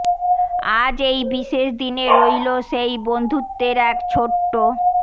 আজ এই বিশেষ দিনে রইল সেই বন্ধুত্বের এক ছোট্ট